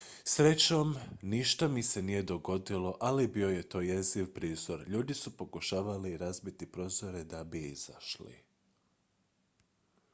"""srećom ništa mi se nije dogodilo ali bio je to jeziv prizor; ljudi su pokušavali razbiti prozore da bi izašli.